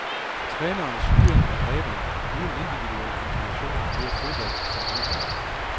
Trænerens styring er dræbende, uden individuel inspiration dør fodbold som underholdning.